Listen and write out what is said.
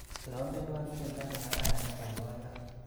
Trompenwa tyendo nekararan nebaibaya.